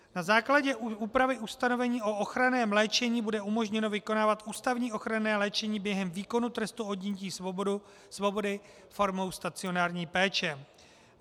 Na základě úpravy ustanovení o ochranném léčení bude umožněno vykonávat ústavní ochranné léčení během výkonu trestu odnětí svobody formou stacionární péče.